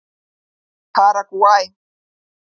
Paragvæ